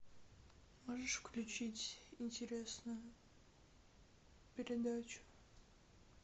можешь включить интересную передачу